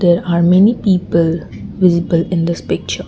there are many people visible in this picture.